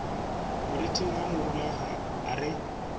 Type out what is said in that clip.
moriting wa morula a re